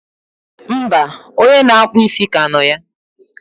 mba, onye na-akpụ isi ka nọ ya.